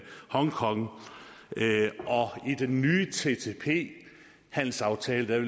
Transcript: hongkong og i den nye ttip handelsaftale der er